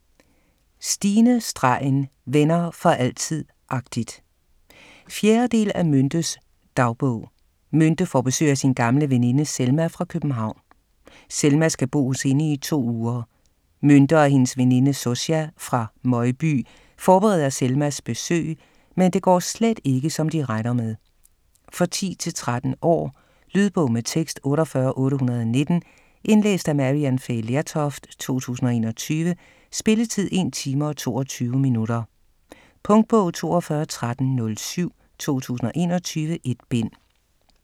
StineStregen: Venner for altid - agtigt 4. del af Myntes dagbog. Mynte får besøg af sin gamle veninde Selma, fra København. Selma skal bo hos hende i to uger. Mynte og hendes veninde Zosia, fra Møgby, forbereder Selmas besøg, men det går slet ikke, som de regner med. For 10-13 år. Lydbog med tekst 48819 Indlæst af Maryann Fay Lertoft, 2021. Spilletid: 1 time, 22 minutter. Punktbog 421307 2021. 1 bind.